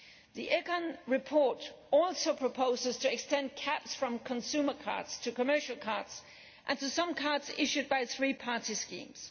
The ECON report also proposes extending caps from consumer cards to commercial cards and to some cards issued by three party schemes.